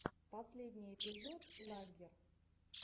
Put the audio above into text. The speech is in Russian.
последний эпизод лаггер